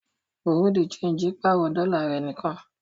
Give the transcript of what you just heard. Bùréáù de ṣéńjì pàrọ̀ dọ́là rẹ̀ nìkan.